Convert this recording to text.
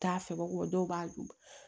T'a fɛbɔ dɔw b'a dun